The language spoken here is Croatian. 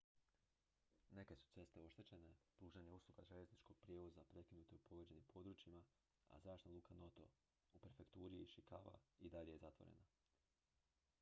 neke su ceste oštećene pružanje usluge željezničkog prijevoza prekinuto je u pogođenim područjima a zračna luka noto u prefekturi ishikawa i dalje je zatvorena